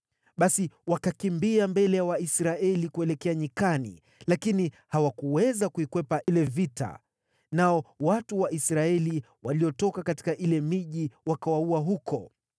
Basi wakakimbia mbele ya Waisraeli kuelekea nyikani, lakini hawakuweza kukwepa vile vita. Nao watu wa Israeli waliotoka katika ile miji wakawaua huko.